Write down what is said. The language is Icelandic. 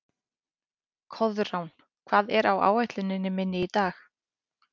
Koðrán, hvað er á áætluninni minni í dag?